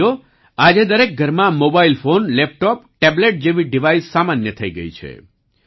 સાથીઓ આજે દરેક ઘરમાં મોબાઈલ ફોન લેપટોપ ટેબ્લેટ જેવી ડિવાઈસ સામાન્ય થઈ ગયી છે